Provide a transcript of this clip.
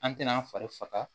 An tɛna an fari faga